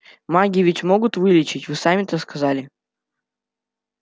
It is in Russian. маги ведь могут лечить вы сами это сказали